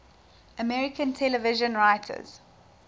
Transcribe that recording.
american television writers